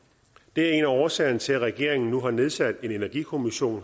det er en af årsagerne til at regeringen nu har nedsat en energikommission